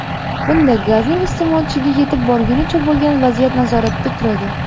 Bunda gazning iste’molchiga yetib borgunicha bo‘lgan vaziyat nazoratda turadi.